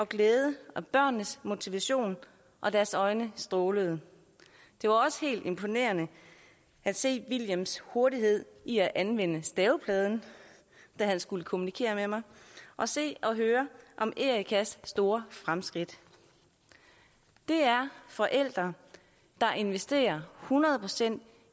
glæde og børnenes motivation og deres øjne strålede det var også helt imponerende at se wilhelms hurtighed i at anvende stavepladen da han skulle kommunikere med mig og se og høre om erikas store fremskridt det er forældre der investerer hundrede procent